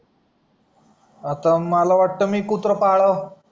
आता मला वाट मी कुत्रा पाडाव